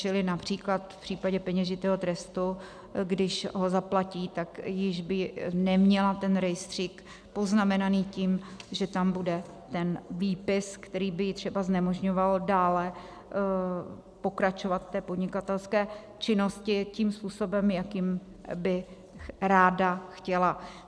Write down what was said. Čili například v případě peněžitého trestu, když ho zaplatí, tak již by neměla ten rejstřík poznamenaný tím, že tam bude ten výpis, který by jí třeba znemožňoval dále pokračovat v podnikatelské činnosti tím způsobem, jakým by ráda chtěla.